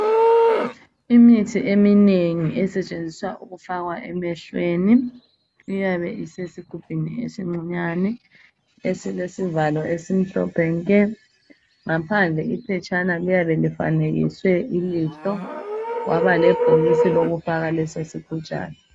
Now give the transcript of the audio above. Imithi eminengi esetshenziswa ukufakwa emehlweni iyabe esesigujini esincinyane esilesivalo esimhlophe nke ngaphadle iphetshana eliyabe lifanekiswe ilihlo kwaba lebhokisi lokufaka lesi sigujana.